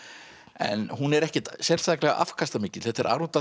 en hún er ekkert sérstaklega afkastamikil þetta er